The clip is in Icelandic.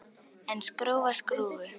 En skrúfa skrúfu?